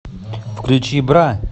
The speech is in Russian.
включи бра